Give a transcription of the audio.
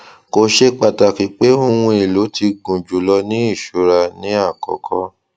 kò ṣe pàtàkì pé oun èlò tí gúnjùlọ ní ìṣùrà ni àkọkọ